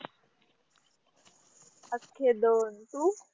अखे दोन, तू?